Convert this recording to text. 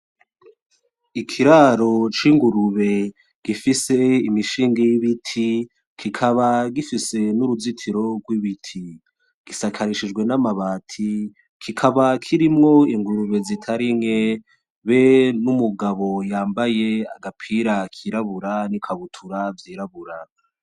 Ikiraro c'ingurube gifise imishinge y'ibiti, kikaba gifise n'uruzitiro rw'ibiti. Gisakarishijwe n'amabati, kikaba kirimwo ingurube zitari nke be n'umugabo yambaye agapira kirabura n'ikabutura vyirabura.